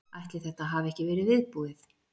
Ætli þetta hafi ekki verið viðbúið.